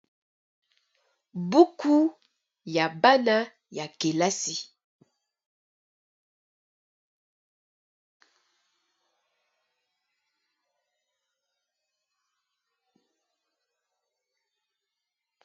Buku ya bana ya kelasi ya 6ème eza na langi ya bozinga, makambo ekomami na langi ya pembe na langi ya mosaka.